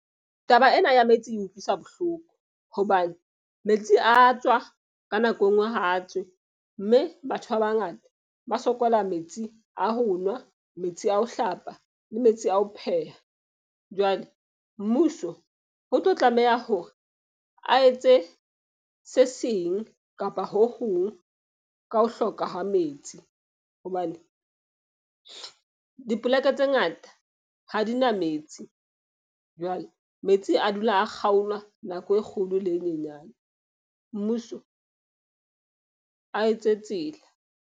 Taba ena ya metsi e utlwisa bohloko. Hobane metsi a tswa ka nako enngwe ha a tswe. Mme batho ba bangata ba sokola metsi a ho nwa, metsi a ho hlapa le metsi a ho pheha. Jwale mmuso ho tlo tlameha hore a etse se seng kapa ho hong ka ho hloka ha metsi. Hobane dipolaka tse ngata ha di na metsi. Jwale metsi a dula a kgaolwa nako e kgolo le e nyenyane, mmuso a etse tsela.